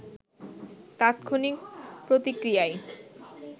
তাৎক্ষণিক প্রতিক্রিয়ায়